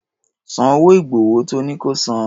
San owó ìgbọ̀wọ́ tọ́ ní ko san.